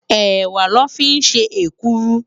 Èwá lò fi n sé ékùrú